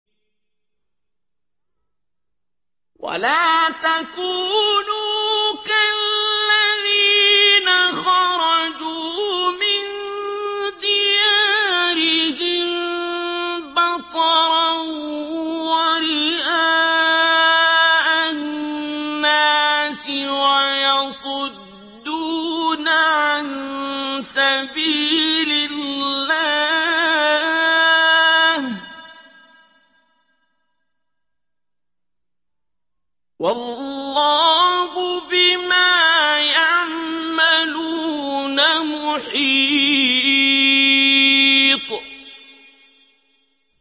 وَلَا تَكُونُوا كَالَّذِينَ خَرَجُوا مِن دِيَارِهِم بَطَرًا وَرِئَاءَ النَّاسِ وَيَصُدُّونَ عَن سَبِيلِ اللَّهِ ۚ وَاللَّهُ بِمَا يَعْمَلُونَ مُحِيطٌ